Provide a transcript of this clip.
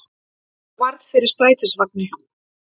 Varð fyrir strætisvagni